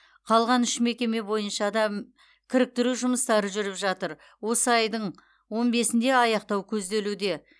қалған үш мекеме бойынша да кіріктіру жұмыстары жүріп жатыр осы айдың он бесінде аяқтау көзделуде